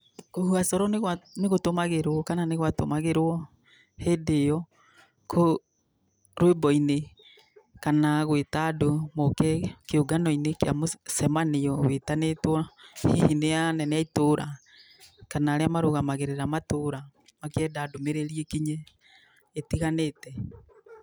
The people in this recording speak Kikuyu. Kũhuha coro nĩ gũtũmagĩrwo kana nĩ gwatũmagĩrwo hĩndĩ ĩyo rwĩmbo-inĩ kana gwĩta andũ moke kĩũngano-inĩ kĩa mũcamanio wĩtanĩtwo hihi nĩ anene a itũra, kana arĩa marũgamagĩrĩra matũra makĩenda ndũmĩrĩri ĩkinye ĩtiganĩte.